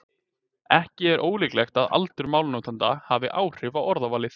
Ekki er ólíklegt að aldur málnotenda hafi áhrif á orðavalið.